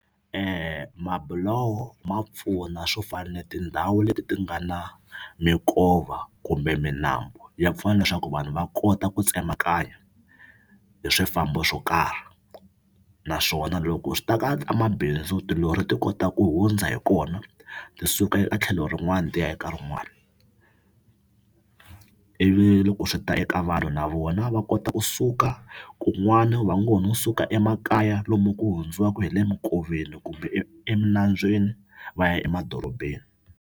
Mabuloho ma pfuna swo fana na tindhawu leti ti nga na minkova kumbe milambu ya pfuna leswaku vanhu va kota ku tsemakanya hi swifambo swo karhi naswona loko swi ta ka tamabhindzu tilori ti kota ku hundza hi kona ti suka etlhelo rin'wani ti ya eka rin'wani ivi loko swi ta eka vanhu na vona va kota kusuka kun'wana va ngo ho no suka emakaya lomu ku hundziwaku hi le minkoveni kumbe eminambyeni va ya emadorobeni.